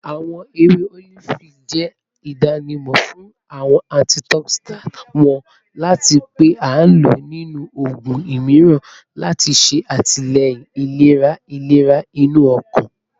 Awọn ewe olifi jẹ idanimọ fun awọn antioxidants wọn ati pe a lo ninu oogun miiran lati ṣe atilẹyin ilera ilera inu ọkan